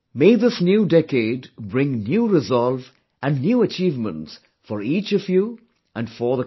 May this new decade bring new resolve and new achievements for each of you, and for the country